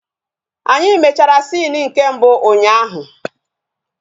Anyị mechara sini nke mbụ ụnyaahụ